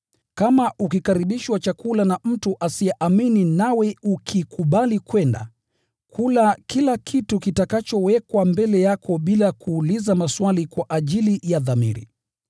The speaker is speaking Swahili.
Kama ukikaribishwa chakula na mtu asiyeamini nawe ukikubali kwenda, kula kila kitu kitakachowekwa mbele yako bila kuuliza maswali kwa ajili ya dhamiri.